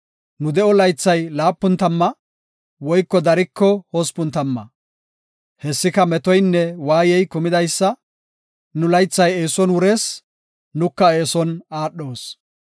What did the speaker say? Nu de7o laythay laapun tamma; woyko dariko hospun tamma. Hessika metoynne waayey kumidaysa; nu laythay eeson wurees; nuka eeson aadhoos.